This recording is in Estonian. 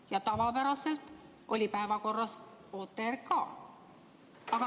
Ja tavapäraselt oli päevakorras OTRK.